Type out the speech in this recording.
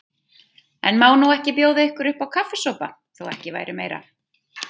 En má ég nú ekki bjóða ykkur uppá kaffisopa, þó ekki væri meira.